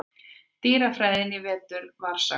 dýrafræðinni í vetur var sagt.